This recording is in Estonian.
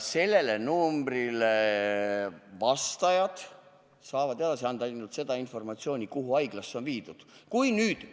Sellelt numbrilt vastajad saavad edastada ilmselt seda informatsiooni, kuhu haiglasse inimene on viidud.